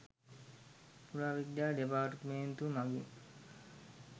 පුරාවිද්‍යා දෙපාර්තමේන්තුව මඟින්